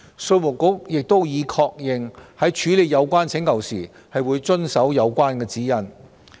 稅務局亦已確認，在處理有關請求時會遵守指引。